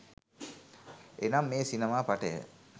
එනම් මේ සිනමා පටය